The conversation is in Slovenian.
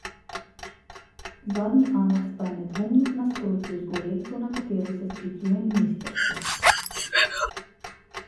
Zadnji aneks pa je nedvomno v nasprotju z uredbo na katero se sklicuje ministrstvo.